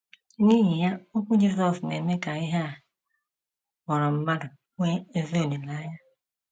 N’ihi ya okwu Jisọs na - eme ka ihe a kpọrọ mmadụ nwee ezi olileanya.